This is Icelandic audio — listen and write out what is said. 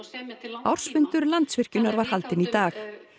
ársfundur Landsvirkjunar var haldinn í dag